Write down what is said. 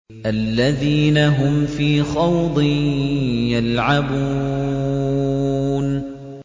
الَّذِينَ هُمْ فِي خَوْضٍ يَلْعَبُونَ